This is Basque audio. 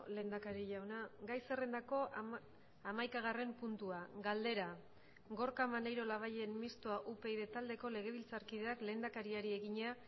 lehendakari jauna gai zerrendako hamaikagarren puntua galdera gorka maneiro labayen mistoa upyd taldeko legebiltzarkideak lehendakariari egina